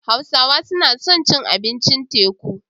Sinawa suna son cin abincin teku.